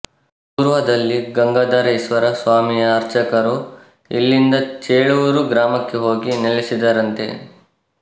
ಪೂರ್ವದಲ್ಲಿ ಗಂಗಾಧರೇಶ್ವರ ಸ್ವಾಮಿಯ ಅರ್ಚಕರು ಇಲ್ಲಿಂದ ಚೇಳೂರು ಗ್ರಾಮಕ್ಕೆ ಹೋಗಿ ನೆಲಸಿದರಂತೆ